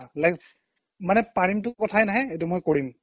like মানে পাৰিমতো কথাই নাই এইটো মই কৰিম